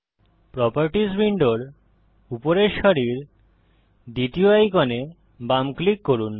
properties উইন্ডোর উপরের সারির দ্বিতীয় আইকনে বাম ক্লিক করুন